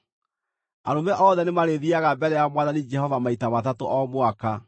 “Arũme othe nĩmarĩthiiaga mbere ya Mwathani Jehova maita matatũ o mwaka.